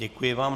Děkuji vám.